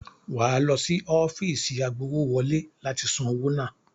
Wà á lọ sí ọ́fíìsì agbowówọlé láti san owó náà.